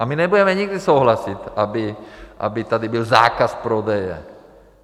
A my nebudeme nikdy souhlasit, aby tady byl zákaz prodeje.